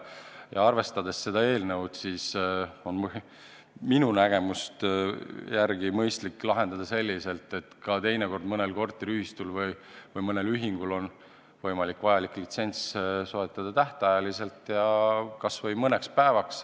Mis puutub sellesse eelnõusse, siis minu nägemust mööda on probleem mõistlik lahendada selliselt, et kui teinekord mõnel korteriühistul või ühingul on sellist platvormi tarvis, et mingi koosolek läbi viia, siis on võimalik vajalik litsents soetada tähtajaliselt, kas või mõneks päevaks.